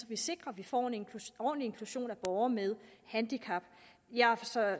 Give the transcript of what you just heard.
vi sikrer at vi får en ordentlig inklusion af borgere med handicap jeg har